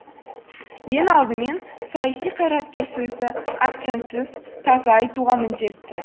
ең алдымен саяси қайраткер сөзді акцентсіз таза айтуға міндетті